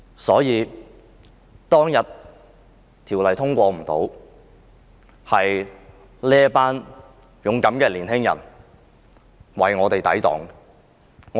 修例當天無法通過，就是由於這群勇敢的青年人為我們抵擋。